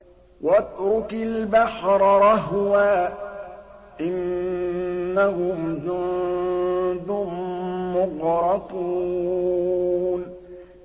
وَاتْرُكِ الْبَحْرَ رَهْوًا ۖ إِنَّهُمْ جُندٌ مُّغْرَقُونَ